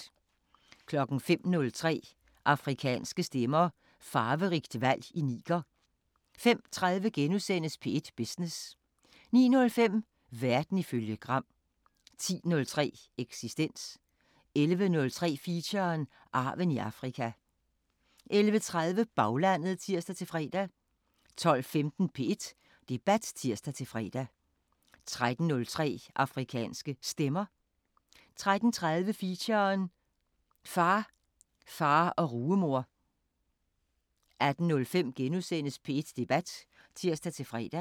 05:03: Afrikanske Stemmer: Farverigt valg i Niger 05:30: P1 Business * 09:05: Verden ifølge Gram 10:03: Eksistens 11:03: Feature: Arven i Afrika 11:30: Baglandet (tir-fre) 12:15: P1 Debat (tir-fre) 13:03: Afrikanske Stemmer 13:30: Feature: Far, far og rugemor 18:05: P1 Debat *(tir-fre)